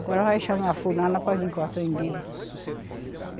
Agora vai chamar a fulana para vir cortar o umbigo.